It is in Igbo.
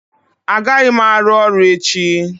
Agaghị m arụ ọrụ echi